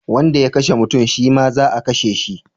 Wanda ya kashe mutum shi ma za a kashe shi